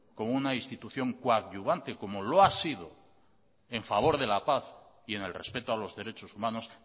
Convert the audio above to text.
como una institución coadyuvante como lo ha sido en favor de la paz y en el respeto a los derechos humanos